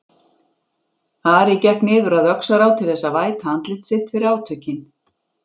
Ari gekk niður að Öxará til þess að væta andlit sitt fyrir átökin.